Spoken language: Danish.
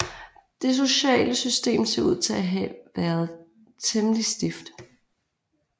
Dette sociale system ser ud til at have været temmelig stift